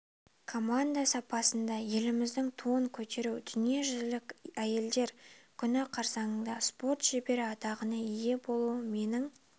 команда сапында еліміздің туын көтеру дүниежүзілік әйелдер күні қарсаңында спорт шебері атағына ие болуым менің